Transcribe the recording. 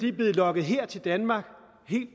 er blevet lokket her til danmark